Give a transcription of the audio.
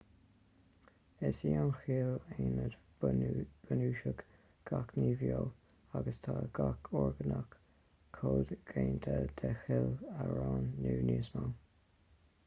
is í an chill aonad bunúsach gach ní bheo agus tá gach orgánach comhdhéanta de chill amháin nó níos mó